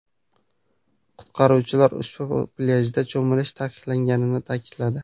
Qutqaruvchilar ushbu plyajda cho‘milish taqiqlanganini ta’kidladi.